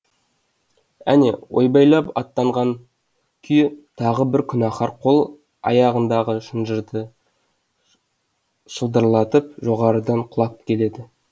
әне ойбайлап аттандаған күйі тағы бір күнәһар қол аяғындағы шынжырды шылдырлатып жоғарыдан құлап келеді